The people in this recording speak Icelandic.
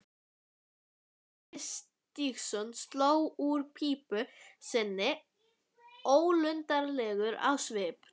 Otti Stígsson sló úr pípu sinni ólundarlegur á svip.